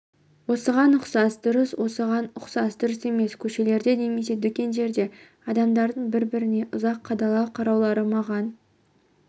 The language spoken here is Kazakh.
осыған ұқсас дұрыс осыған ұқсас дұрыс емес көшелерде немесе дүкендерде адамдардың бір-біріне ұзақ қадала қараулары маған